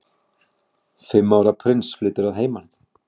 Fimm ára prins flytur að heiman